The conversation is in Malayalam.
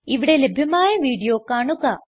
ഇവിടെ ലഭ്യമായ വീഡിയോ കാണുക